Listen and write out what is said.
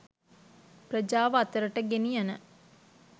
ප්‍රජාව අතරට ගෙනියන